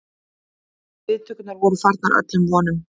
Viðtökurnar voru framar öllum vonum